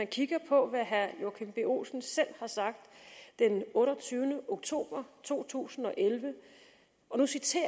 kigger på hvad herre joachim b olsen selv har sagt den otteogtyvende oktober to tusind og elleve og nu citerer